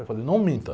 Eu falei, não minta.